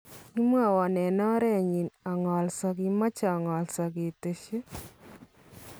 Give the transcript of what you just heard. Kimwawon en oreenyin ang'alsaa ."kimache ang'alsaa ," kiteesyi.